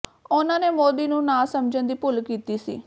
ਉਨ੍ਹਾਂ ਨੇ ਮੋਦੀ ਨੂੰ ਨਾ ਸਮਝਣ ਦੀ ਭੁੱਲ ਕੀਤੀ ਸੀ